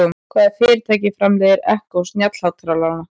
Hvaða fyrirtæki framleiðir Echo snjallhátalarann?